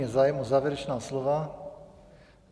Je zájem o závěrečná slova?